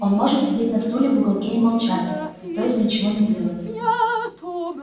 он может сидеть на стуле в уголке и молчать то есть ничего не делать